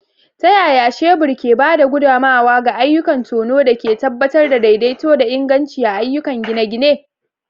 Ta yaya shebur ke ba da gudummawa ga ayyukan tono da ke tabbatar da daidaito da inganci a ayyukan gine-gine?